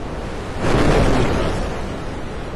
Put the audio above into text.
To je moj čas!